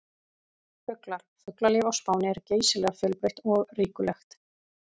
Fuglar: Fuglalíf á Spáni er geysilega fjölbreytt og ríkulegt.